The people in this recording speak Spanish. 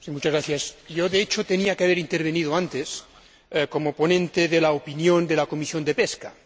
Señor Presidente, yo, de hecho, tenía que haber intervenido antes como ponente de la opinión de la Comisión de Pesca.